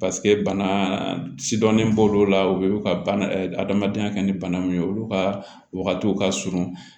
bana sidɔnnen b'olu la u ye u ka bana adamadenya kɛ ni bana min ye olu ka wagatiw ka surun